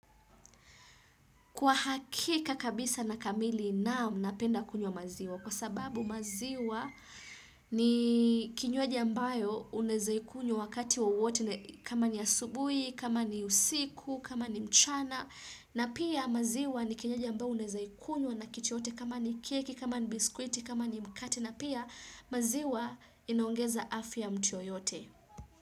Kwa hakika kabisa na kamili naam mnapenda kunywa maziwa kwa sababu maziwa ni kinywaja ambayo unawezaikunya wakati wowote kama ni asubui, kama ni usiku, kama ni mchana na pia maziwa ni kinywaji ambayo unawezaikunywa nakitu yoyote kama ni keki, kama ni biskwiti, kama ni mkati na pia maziwa inaongeza afya ya mtu yoyote.